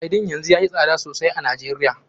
Sardine yanzu yayi tsada sosai a Najeriya.